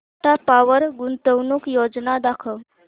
Tata power गुंतवणूक योजना दाखव